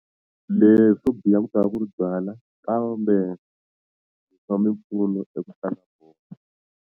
Leswo biha ku tava ku ri byala kambe swa mimpfuno .